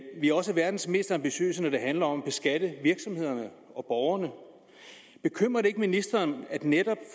vi er også verdens mest ambitiøse når det handler om at beskatte virksomhederne og borgerne bekymrer det ikke ministeren at netop